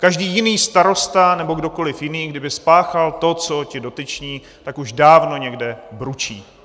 Každý jiný starosta nebo kdokoliv jiný kdyby spáchal to, co ti dotyční, tak už dávno někde bručí!